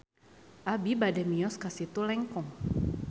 Abi bade mios ka Situ Lengkong